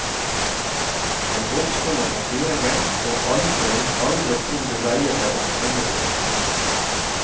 Den voksne må ta styringen, og aldri, aldri tro det dreier seg om tomme trusler.